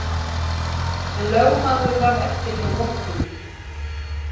En lögmaður varð eftir hjá munkinum